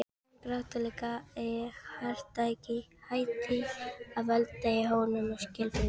Hin grátlega harðýðgi hætti að valda honum skelfingu.